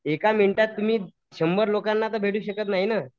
एका मिनिटात तुम्ही शंभर लोकांना तर भेटू शकत नाही ना.